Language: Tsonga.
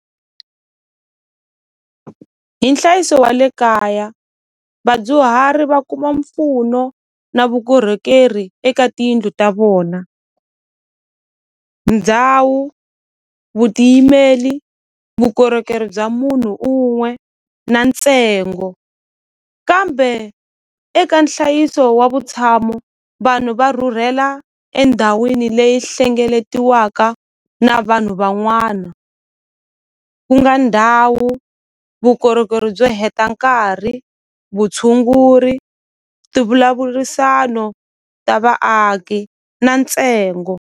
Hi nhlayiso wa le kaya vadyuhari va kuma mpfuno na vukorhokeri eka tiyindlu ta vona ndhawu vutiyimeli vukorhokeri bya munhu un'we na ntsengo kambe eka nhlayiso wa vutshamo vanhu va rhurhela endhawini leyi hlengeletiwaka na vanhu van'wana ku nga ndhawu vukorhokeri byo heta nkarhi vutshunguri ti vulavurisano ta vaaki na ntsengo.